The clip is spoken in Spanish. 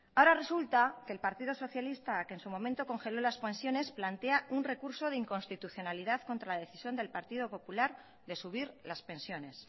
ahora resulta que el partido socialista que en su momento congeló las pensiones plantea un recurso de inconstitucionalidad contra la decisión del partido popular de subir las pensiones